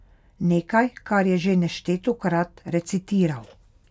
Nekaj, kar je že neštetokrat recitiral.